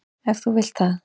Ef þú vilt það.